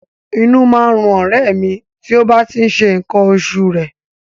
Inú má ń run ọ̀rẹ́ ẹ̀ mi tí ó bá tí ń ṣe nǹkan oṣù rẹ̀